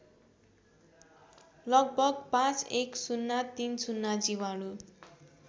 लगभग ५१०३० जीवाणु